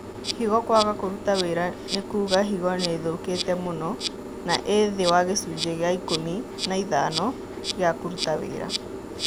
Higo kwaga kũruta wĩra nĩ kuga higo nĩithũkĩte mũno na ĩ thĩ wa gĩcunjĩ kĩa ikũmi na ithano gĩa kũruta wĩra